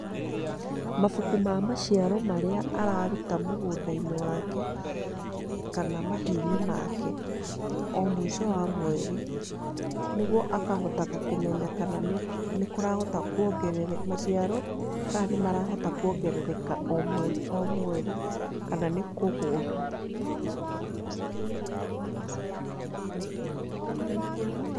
Mabuku ma maciaro marĩa araruta mũgũnda-inĩ wake kana mahiu-inĩ make, o mũico wa mweri, nĩguo akahotaga kũmenya kana nĩ kũrahota, maciaro kana nĩ marahota kuongerereka o mweri o mweri, kana nĩ kũgũa .